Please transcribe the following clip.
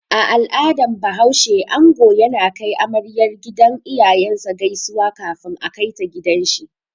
A al'adan bahaushe, ango yana kai amaryar gidan iyayen sa gaisuwa kafin a kaita gidan shi